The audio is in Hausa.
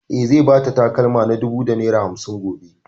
E, zai ba ta takalma na dubu da naira hamsin gobe.